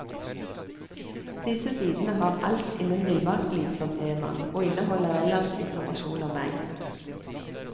Disse sidene har alt innen villmarksliv som tema, og inneholder ellers informasjon om meg.